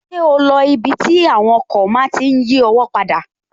Ṣé o lo ibi tí àwọn ọkọ̀ máa tí n yí ọwọ́ padà?